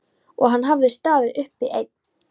Og hann hafði staðið uppi einn.